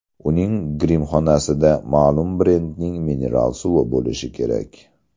Uning grimxonasida ma’lum brendning mineral suvi bo‘lishi kerak.